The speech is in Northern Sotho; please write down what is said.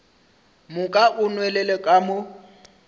moka o nwelele ka mo